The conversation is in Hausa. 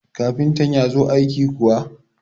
kafinta ya zo aiki kuwa?